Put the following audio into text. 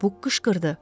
Bu qışqırdı.